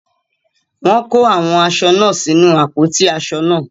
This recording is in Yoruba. Wọ́n kó àwọn aṣọ náà sínu àpótí aṣọ náà.